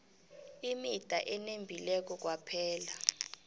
imida enembileko kwaphela